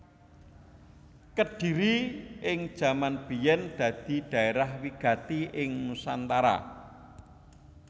Kedhiri ing jaman biyèn dadi dhaerah wigati ing nusantara